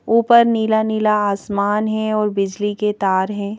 ऊपर नीला नीला आसमान है और बिजली के तार हैं।